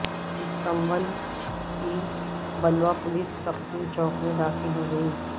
Istanbul کی بلوہ police Taksim چوک میں داخل ہو گئی